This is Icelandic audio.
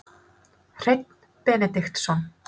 Hreinn Benediktsson